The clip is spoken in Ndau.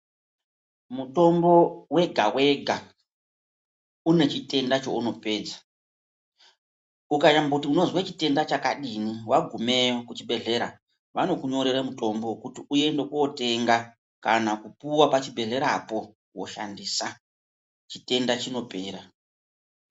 Mutombo wega-wega ,une chitenda chounopedza. Ukanyamboti unozwe chitenda chakadini, wagumeyo kuchibhedhlera, vanokunyorere mutombo wekuti uende kootenga, kana kupuwa pachibhedhlerapo, wooshandisa ,chitenda chinopera.